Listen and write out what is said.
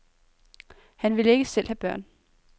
Han ville ikke selv have børn.